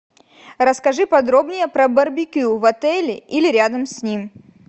расскажи подробнее про барбекю в отеле или рядом с ним